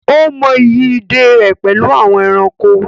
Ó mọ ìyí ìdè rẹ̀ pẹ̀lú àwọn ẹranko.